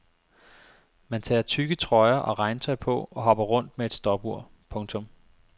Man tager tykke trøjer og regntøj på og hopper rundt med et stopur. punktum